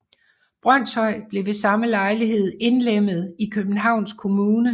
Brønshøj blev ved samme lejlighed indlemmet i Københavns Kommune